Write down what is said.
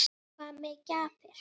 Hvað með gjafir?